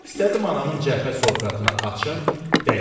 İstədim anamın cəbhə sovqatını açım, dəymədim.